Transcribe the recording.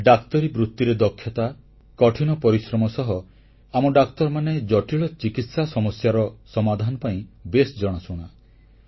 ଡାକ୍ତରୀ ବୃତିରେ ଦକ୍ଷତା କଠିନ ପରିଶ୍ରମ ସହ ଆମ ଡାକ୍ତରମାନେ ଜଟିଳ ଚିକିତ୍ସା ସମସ୍ୟାର ସମାଧାନ ପାଇଁ ବେଶ ଜଣାଶୁଣା